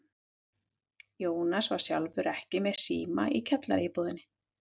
Jónas var sjálfur ekki með síma í kjallaraíbúðinni.